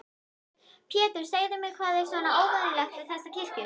Pétur, segðu mér, hvað er svona óvenjulegt við þessa kirkju?